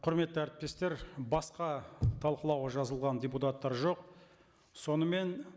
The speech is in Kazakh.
құрметті әріптестер басқа талқылауға жазылған депутаттар жоқ сонымен